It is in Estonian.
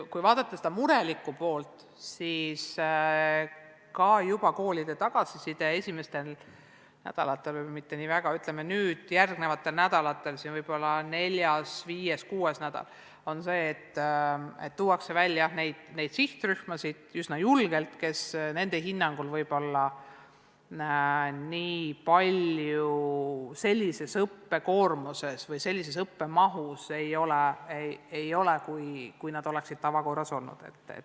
Kui vaadata seda murelikku poolt, siis juba koolide tagasiside esimestel nädalatel või pigem neile järgnenud nädalatel – võib-olla neljas-viies-kuues nädal – on olnud selline, et tuuakse üsna julgelt välja neid sihtrühmasid, kellel nende hinnangul võib-olla nii palju õppekoormust või õppemahtu ei ole olnud, kui oleks tavaolukorras.